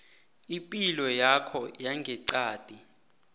ipilo yakho yangeqadi